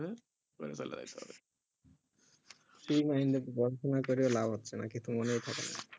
free mind কইরা লাভ আছে নাকি কিছু তো মনেই থাকে না